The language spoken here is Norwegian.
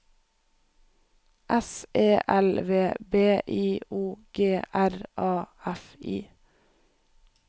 S E L V B I O G R A F I